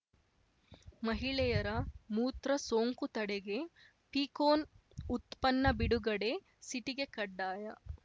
ಮಹಿಳೆಯರ ಮೂತ್ರ ಸೋಂಕು ತಡೆಗೆ ಪೀಕೋನ್‌ ಉತ್ಪನ್ನ ಬಿಡುಗಡೆ ಸಿಟಿಗೆ ಕಡ್ಡಾಯ